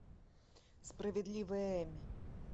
справедливая эми